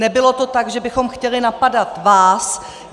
Nebylo to tak, že bychom chtěli napadat vás.